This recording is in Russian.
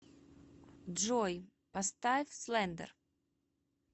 джой поставь слендер